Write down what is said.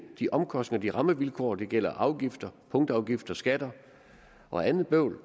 de omkostninger bedre rammevilkår det gælder afgifter punktafgifter skatter og andet bøvl